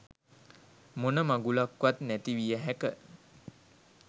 මොන මගුලක්වත් නැති විය හැක.